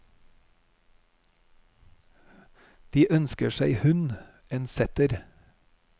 De ønsker seg hund, en setter.